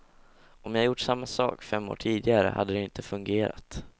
Om jag gjort samma sak fem år tidigare hade det inte fungerat.